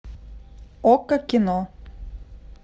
окко кино